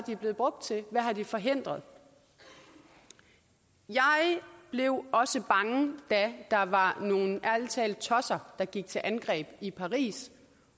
blevet brugt til hvad har de forhindret jeg blev også bange da der var nogle tosser ærlig der gik til angreb i paris